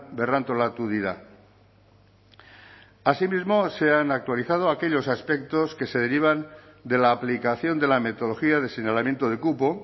berrantolatu dira asimismo se han actualizado aquellos aspectos que se derivan de la aplicación de la metodología de señalamiento de cupo